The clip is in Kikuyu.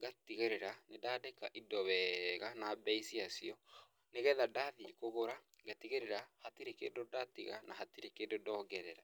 ngatigĩrĩra nĩ ndandĩka indo wega na bei cia cio, nĩgetha ndathiĩ kũgũra, ngatigĩrĩra hatirĩ kĩndũ ndatiga na hatirĩ kĩndũ ndongerera.